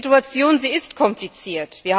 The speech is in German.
Die Situation ist kompliziert.